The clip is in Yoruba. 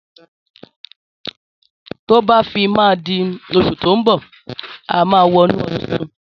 Tọ bà fi mà dí òsú tọ mbọ àmá wò nú ọdún títùn.